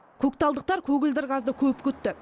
көкталдықтар көгілдір газды көп күтті